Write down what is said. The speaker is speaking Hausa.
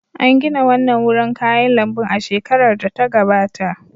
An gina wannan wurin kayan lambun a shekarar da ta gabata.